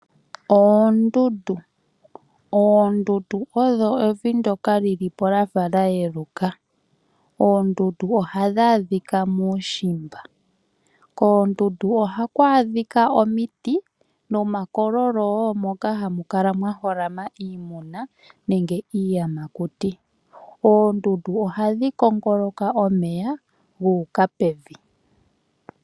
Oondundu, oondundu odho evi ndjoka lilipo lyafa lyayeluka. Oondundu ohadhi adhika muushimba. Koondundu ohaku adhika omiti nomakololo woo moka hamu kala mwa holama iimuna nenge iiyamakuti. Oondundu ohadhi kongoloka omeya guuka pevi.